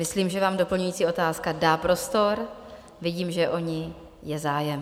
Myslím, že vám doplňující otázka dá prostor, vidím, že je o ni zájem.